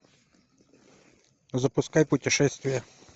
запускай путешествие